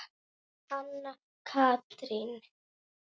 Anna Katrín.